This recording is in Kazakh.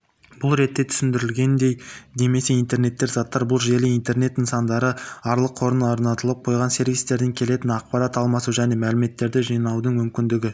бұл ретте түсіндірілгендей немесе интернет заттар бұл желі интернет нысандары арқылыорнатылып қойған сервистерден келетін ақпарат алмасу және мәліметтерді жинаудың мүмкіндігі